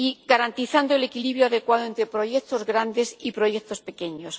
garantizando el equilibrio adecuado entre proyectos grandes y proyectos pequeños.